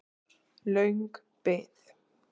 Löng bið